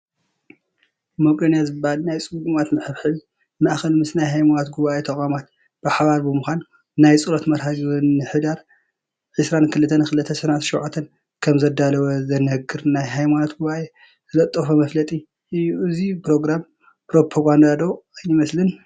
መቄዶንያ ዝብሃል ናይ ፅጉማት መሐብሐቢ ማእከል ምስ ናይ ሃይማኖት ጉባኤ ተቋማት ብሓባር ብምዃን ናይ ፀሎት መርሃ ግብሪ ንሕዳር 22/2017 ከምዘዳለወ ዝነግር ናይ ሃይማኖት ጉባኤ ዝለጠፎ መፋለጢ እዩ፡፡ እዚ ፕሮግራም ፕሮፓጋንዳ ዶ ኣይመሰለን፡፡